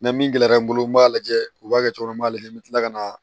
Na min gɛlɛyara n bolo n b'a lajɛ u b'a kɛ cogo min na n b'a lajɛ n bɛ kila ka na